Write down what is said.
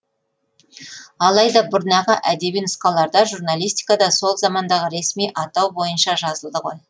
алайда бұрнағы әдеби нұсқаларда журналистикада сол замандағы ресми атау бойынша жазылды ғой